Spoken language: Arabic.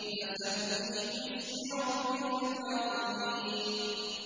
فَسَبِّحْ بِاسْمِ رَبِّكَ الْعَظِيمِ